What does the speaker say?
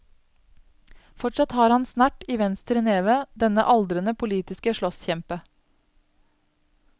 Fortsatt har han snert i venstre neve, denne aldrende politiske slåsskjempe.